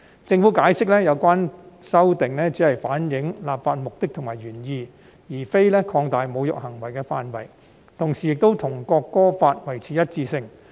政府解釋，有關修訂只是反映立法目的和原意，而非擴大侮辱行為的範圍，同時亦與《國歌條例》維持一致。